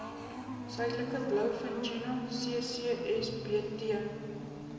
suidelike blouvintuna ccsbt